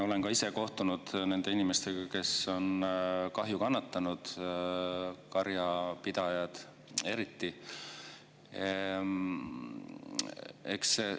Olen ka ise kohtunud nende inimestega, kes on kahju kannatanud, eriti karjapidajad.